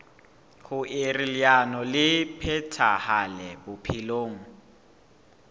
hoer leano le phethahale bophelong